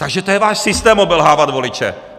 Takže to je váš systém, obelhávat voliče!